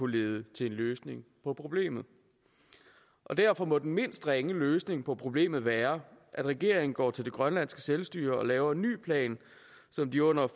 lede til en løsning på problemet derfor må den mindst ringe løsning på problemet være at regeringen går til det grønlandske selvstyre og laver en ny plan så de under